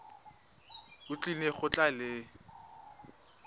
o tlile go tla le